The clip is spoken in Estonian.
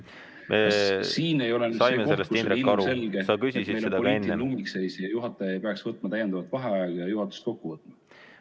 Kas siin ei ole see koht, kus on ilmselge poliitiline ummikseis ja juhataja ei peaks võtma täiendava vaheaja ja juhatuse kokku võtma?